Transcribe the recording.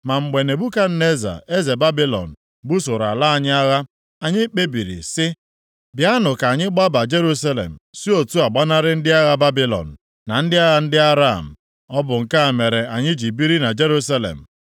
Ma mgbe Nebukadneza eze Babilọn busoro ala anyị agha, anyị kpebiri sị, ‘Bịanụ ka anyị gbaba Jerusalem si otu a gbanarị ndị agha Babilọn, na ndị agha ndị Aram.’ Ọ bụ nke a mere anyị ji biri na Jerusalem.”